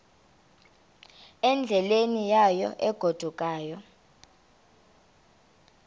endleleni yayo egodukayo